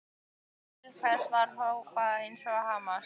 En til hvers var að hrópa eða hamast?